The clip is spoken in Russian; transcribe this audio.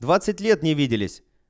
двадцать лет не виделись